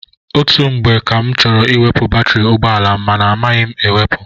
Ọtụtụ mgbe ka m chọrọ iweputa batiri ụgbọala m ma amaghị m ewepu.